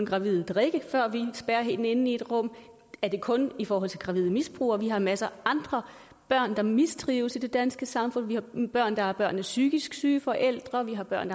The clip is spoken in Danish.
gravide drikke før vi spærrer hende inde i et rum er det kun i forhold til gravide misbrugere vi har en masse andre børn der mistrives i det danske samfund vi har børn der er børn af psykisk syge forældre vi har børn